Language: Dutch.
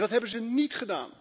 En dat hebben ze niet!